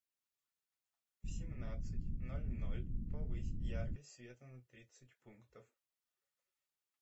в семнадцать ноль ноль повысь яркость света на тридцать пунктов